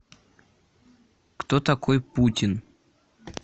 кто такой путин